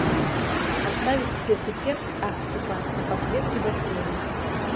поставить спецэффект арктика на подсветке бассейна